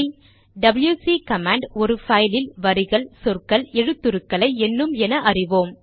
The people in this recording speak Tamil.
டபில்யுசி கமாண்ட் ஒரு பைலில் வரிகள் சொற்கள் எழுத்துருக்களை எண்ணும் என அறிவோம்